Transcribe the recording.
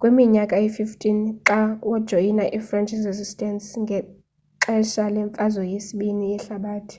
kwiminyaka eyi-15 xa wajoyina i-french resistance ngexesha lemfazwe yesibini ii yehlabathi